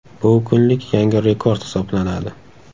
Bu kunlik yangi rekord hisoblanadi .